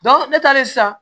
ne taalen sisan